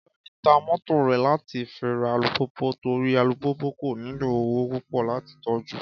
Kọ́ládé ta mọ́tò rẹ̀ láti fi ra alùpùpù torí alùpùpù kò nílò owó púpọ̀ láti tọ́jú